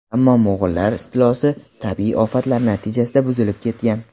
Ammo mo‘g‘ullar istilosi, tabiiy ofatlar natijasida buzilib ketgan.